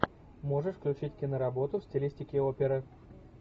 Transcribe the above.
можешь включить киноработу в стилистике оперы